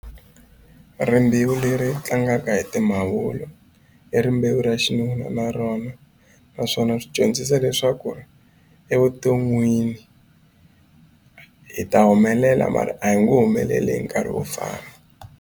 Rimbewu leri tlangaka hi timavula i rimbewu ra xinuna na rona naswona swi dyondzisa leswaku ri evuton'wini hi ta humelela mara a hi nge humeleli hi nkarhi wo fana.